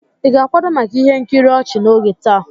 Ị ga-akwado maka ihe nkiri ochi n'oge taa?